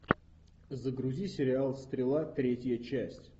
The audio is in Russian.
загрузи сериал стрела третья часть